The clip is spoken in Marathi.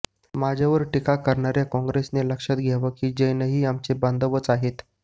माझ्यावर टीका करणाऱ्या काँग्रेसनं लक्षात घ्यावे की जैनही आमचे बांधवच आहेत